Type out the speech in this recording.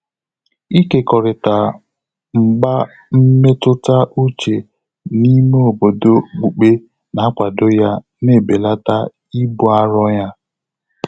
Ị́kékọ́rị́tà mgbà mmétụ́tà úchè n’ímé òbòdò ókpùkpé nà-ákwàdò yá nà-ébèlàtà íbù áró yá.